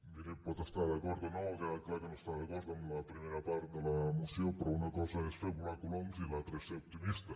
miri hi pot estar d’acord o no ha quedat clar que no està d’acord amb la primera part de la moció però una cosa és fer volar coloms i l’altra és ser optimista